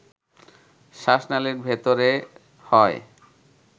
শ্বাসনালীর ভেতরে হয়